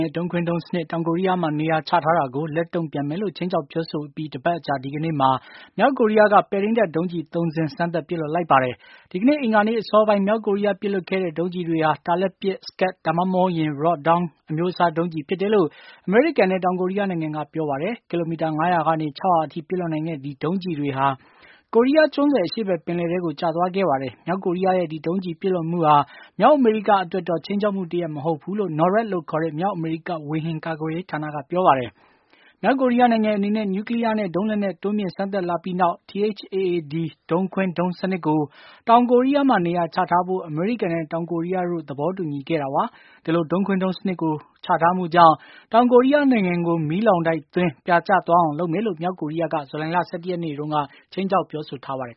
ရဲ့ ဒုံးခွင်းဒုံး စနစ် တောင်ကိုရီးယားမှာ နေရာချထား တာကို လက်တုန့်ပြန်မယ်လို့ ခြိမ်းခြောက်ပြောဆိုအပြီး ၁ ပတ်အကြာ ဒီကနေ့မှာ မြောက်ကိုရီးယားက ပဲ့ထိန်းတပ်ဒုံးကျည် ၃ စင်း စမ်းသပ် ပစ်လွှတ်လိုက်ပါတယ်။ ဒီကနေ့ အင်္ဂါနေ့အစောပိုင်း မြောက်ကိုရီးယား ပစ်လွှတ်ခဲ့တဲ့ ဒုံးကျည်တွေဟာ တာလတ်ပစ် Scud ဒါမှမဟုတ် Rodong အမျိုးအစား ဒုံးကျည် ဖြစ်တယ်လို့ အမေရိကန်နဲ့ တောင်ကိုရိးယားနိုင်ငံက ပြောပါတယ်။ ကီလိုမီတာ ၅၀၀ ကနေ ၆၀၀ အထိ ပစ်လွှတ်နိုင်တဲ့ ဒီဒုံးကျည်တွေဟာ ကိုရီးယားကျွန်းဆွယ် အရှေ့ဘက် ပင်လယ်ထဲကို ကျသွား ခဲ့ပါတယ်။ မြောက်ကိုရီးယားရဲ့ဒီဒုံးကျည်ပစ်လွှတ်မှုဟာ မြောက်အမေရိကအတွက်တော့ ခြိမ်းခြောက်မှုတရပ် မဟုတ်ဘူးလို့ NORAD လို့ခေါ်တဲ့ မြောက်အမေရိကဝေဟင် ကာကွယ်ရေး ဌာနက ပြောပါတယ်။ မြောက်ကိုရီးယားနိုင်ငံအနေနဲ့ နျူးကလီးယားနဲ့ ဒုံးလက်နက် တိုးမြှင့်စမ်းသပ်လာပြီးနောက် THAAD ဒုံးခွင်းဒုံးစနစ်ကို တောင်ကိုရီးယားမှာ နေရာချထားဖို့ အမေရိကန်နဲ့ တောင်ကိုရီးယားတို့ သဘောတူညီခဲ့တာပါ။ ဒီလိုဒုံးခွင်းဒုံးစနစ်ကို ချထားမှုကြောင့် တောင်ကိုရီးယားနိုင်ငံကို မီးလောင်တိုက်သွင်း ပစ်မှာဖြစ်ပြီးပြာကျသွားအောင် လုပ်မယ်လို့ မြောက်ကိုရီးယားက ဇူလိုင်လ ၁၁ ရက်နေ့မှာ ခြိမ်းခြောက်ပြောဆိုထားပါတယ်